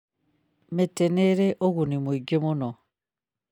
Mĩtĩ nĩ ĩrĩ ũguni mũingĩ mũno.